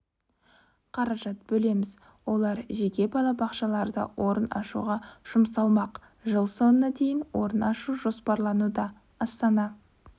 қаражат бөлеміз олар жеке балабақшаларда орын ашуға жұмсалмақ жыл соңына дейін орын ашу жоспарлануда астана